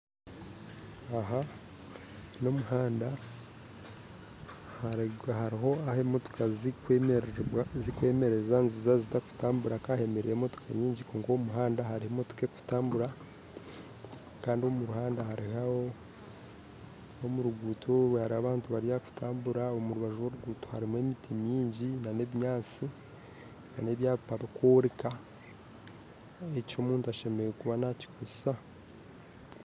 Aha n'omuhanda hariho ahu emotoka zirikwemerera zaaba zitarikutambura kandi hemereireho emotoka nyingi kwonka omu muhanda harimu emotoka erikutambura kandi omu rugudo oru harimu abantu bari aha kutambura omu rubaju rw'orugudo harimu emiti mingi n'ebinyaatsi n'ebyapa birikworeka eki omuntu ashemereire kuba nakikoresa